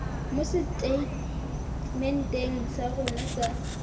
mo seteitementeng sa rona sa